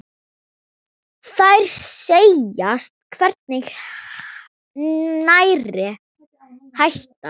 Þær segjast hvergi nærri hættar.